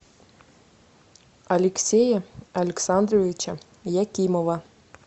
алексея александровича якимова